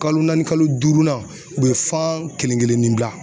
Kalo naani kalo duurunan u be fan kelen kelen ni bila.